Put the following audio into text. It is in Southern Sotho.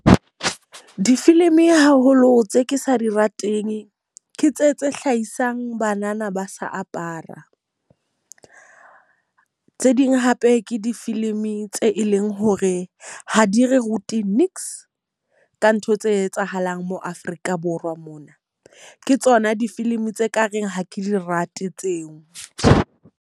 Difilimi haholo tse ke sa di rateng, ke tse tse hlahisang banana ba sa apara. Tse ding hape ke difilimi tse e leng hore ha di re rute ka ntho tse etsahalang mo Afrika Borwa mona. Ke tsona difilimi tse ka reng ha ke di rate tseo.